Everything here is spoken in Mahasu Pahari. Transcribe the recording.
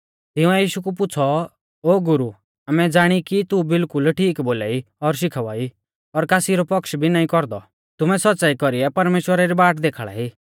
तिंउऐ यीशु कु पुछ़ौ ओ गुरु आमै ज़ाणी कि तू बिल्कुल ठीक बोलाई और शिखावा ई और कासी रौ पक्ष भी नाईं कौरदौ तुमै सौच़्च़ाई कौरीऐ परमेश्‍वरा री बाट देखाल़ाई